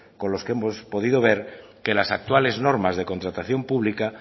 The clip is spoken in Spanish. con los que hemos podido ver que las actuales normas de contratación pública